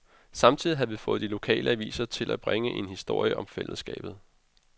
Samtidig havde vi fået de lokale aviser til at bringe en historie om fællesskabet.